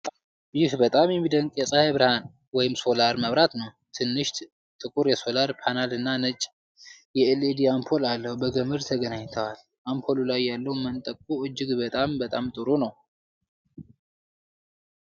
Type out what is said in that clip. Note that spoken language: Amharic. ዋው! ይህ በጣም የሚደንቅ የፀሐይ ብርሃን (ሶላር) መብራት ነው። ትንሽ ጥቁር የሶላር ፓነል እና ነጭ የኤልኢዲ አምፖል አለው። በገመድ ተገናኝተዋል። አምፖሉ ላይ ያለው መንጠቆ እጅግ በጣም ጥሩ ነው።